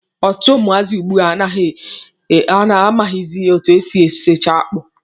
Ọtụtụ ụmụazị ugbua amaghịzị etu e si esicha akpụ.